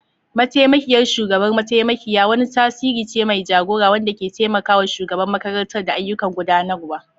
Mataimakiyar shugabar mataimakiyar wani tasiri ce mai jagora wanda ke taimaka wa shugaban makarantar da ayyukan gudanarwa.